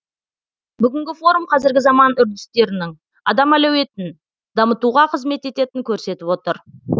бүгінгі форум қазіргі заман үрдістерінің адам әлеуетін дамытуға қызмет ететінін көрсетіп отыр